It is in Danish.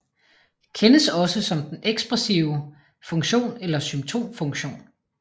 Kendes også som den ekspressive funktion eller symptomfunktion